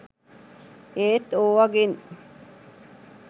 ඒත් ඕවගෙන්